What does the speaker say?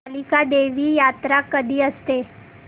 कालिका देवी यात्रा कधी असते